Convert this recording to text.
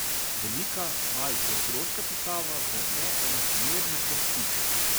Velika, malce otroška pisava v neenakomernih vrsticah.